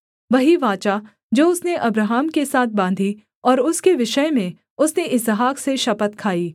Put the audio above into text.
वही वाचा जो उसने अब्राहम के साथ बाँधी और उसके विषय में उसने इसहाक से शपथ खाई